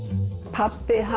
pabbi